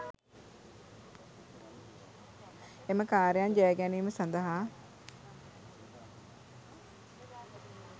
එම කාර්යයන් ජය ගැනීම සඳහා